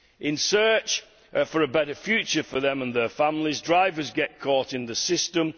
In search of a better future for themselves and their families, drivers get caught in the system.